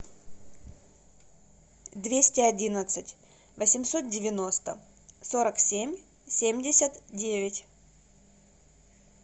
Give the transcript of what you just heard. двести одиннадцать восемьсот девяносто сорок семь семьдесят девять